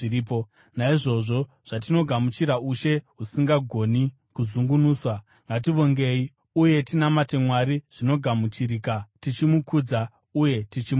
Naizvozvo, zvatinogamuchira ushe husingagoni kuzungunuswa, ngativongei, uye tinamate Mwari zvinogamuchirika, tichimukudza uye tichimutya,